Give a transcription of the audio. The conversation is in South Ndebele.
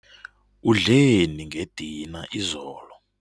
Udleni ngedina izolo?